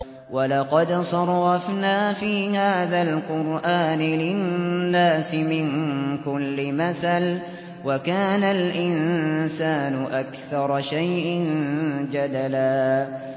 وَلَقَدْ صَرَّفْنَا فِي هَٰذَا الْقُرْآنِ لِلنَّاسِ مِن كُلِّ مَثَلٍ ۚ وَكَانَ الْإِنسَانُ أَكْثَرَ شَيْءٍ جَدَلًا